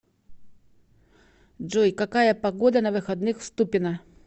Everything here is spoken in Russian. джой какая погода на выходных в ступино